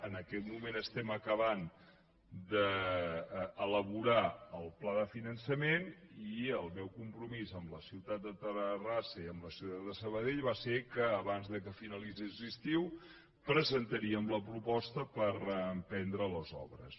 en aquest moment estem acabant d’elaborar el pla de finançament i el meu compromís amb la ciutat de terrassa i amb la ciutat de sabadell va ser que abans que finalitzés l’estiu presentaríem la proposta per emprendre les obres